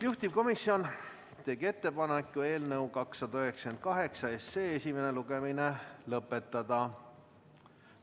Juhtivkomisjon tegi ettepaneku eelnõu 298 esimene lugemine lõpetada.